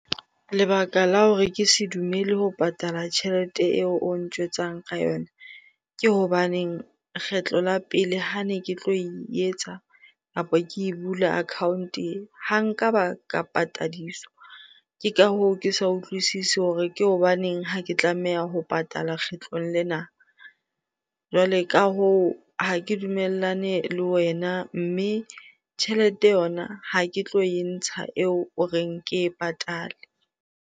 Lebaka la hore ke se dumele ho patala tjhelete eo o ntjwetsang ka yona. Ke hobaneng kgetlo la pele ha ne ke tlo e etsa kapo ke e bula account-e e, ha nka ba ka patadiswa. Ke ka hoo, ke sa utlwisise hore ke hobaneng ha ke tlameha ho patala kgetlong lena. Jwale ka hoo, ha ke dumellane le wena mme tjhelete yona ha ke tlo e ntsha eo o reng ke e patale.